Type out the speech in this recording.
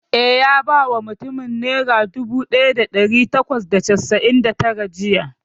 Eh, ya ba mutumin nera dubu ɗaya da ɗari bakwai da casa'in da tara jiya